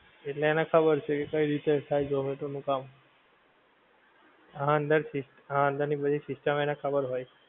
એટલે એને ખબર છે કે કઈ રીતે થાય ઝોમેટો નું કામ. હા અંદર થી, હા અંદર ની બધી system એને ખબર હોય.